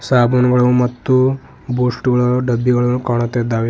ಸಾಬೂನುಗಳು ಮತ್ತು ಬೂಸ್ಟ್ ಗಳ ಡಬ್ಬಿಗಳು ಕಾಣುತ್ತಿದ್ದಾವೆ.